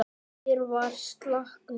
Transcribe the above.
Fyrr var slagnum ekki lokið.